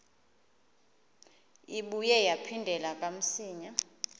ibuye yaphindela kamsinya